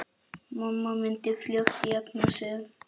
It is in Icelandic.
Mamma myndi fljótt jafna sig.